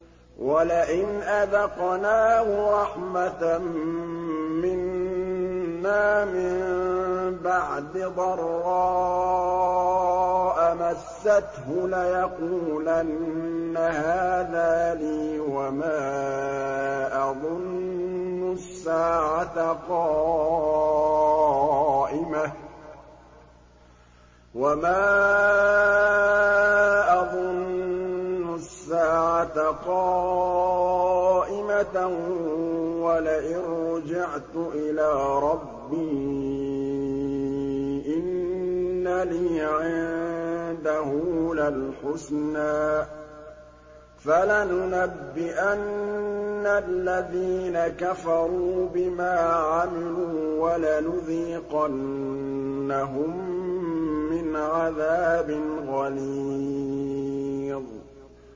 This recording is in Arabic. وَلَئِنْ أَذَقْنَاهُ رَحْمَةً مِّنَّا مِن بَعْدِ ضَرَّاءَ مَسَّتْهُ لَيَقُولَنَّ هَٰذَا لِي وَمَا أَظُنُّ السَّاعَةَ قَائِمَةً وَلَئِن رُّجِعْتُ إِلَىٰ رَبِّي إِنَّ لِي عِندَهُ لَلْحُسْنَىٰ ۚ فَلَنُنَبِّئَنَّ الَّذِينَ كَفَرُوا بِمَا عَمِلُوا وَلَنُذِيقَنَّهُم مِّنْ عَذَابٍ غَلِيظٍ